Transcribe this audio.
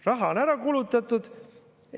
Raha on ära kulutatud.